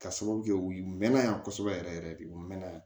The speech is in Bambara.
Ka sababu kɛ u mɛnna yan kosɛbɛ yɛrɛ yɛrɛ de u mɛnna yan